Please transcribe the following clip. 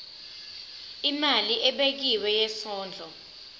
imali ebekiwe yesondlo